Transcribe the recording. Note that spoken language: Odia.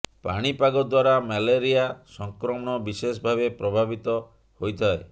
ପାଣିପାଗ ଦ୍ୱାରା ମ୍ୟାଲେରିଆ ସଂକ୍ରମଣ ବିଶେଷ ଭାବେ ପ୍ରଭାବିତ ହୋଇଥାଏ